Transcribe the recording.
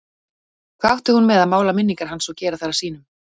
Hvað átti hún með að mála minningar hans og gera þær að sínum?